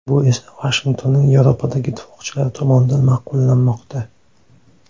Bu esa Vashingtonning Yevropadagi ittifoqchilari tomonidan ma’qullanmoqda.